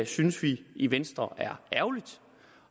synes vi i venstre er ærgerligt